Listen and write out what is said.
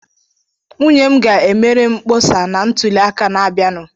Nwunye m ga-emere m mkpọsa na ntuli aka n'abịanụ.